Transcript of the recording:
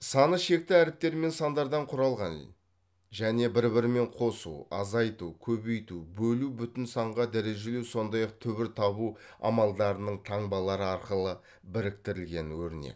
саны шекті әріптермен сандардан құралған және бір бірімен қосу азайту көбейту бөлу бүтін санға дәрежелеу сондай ақ түбір табу амалдарының таңбалары арқылы біріктірілген өрнек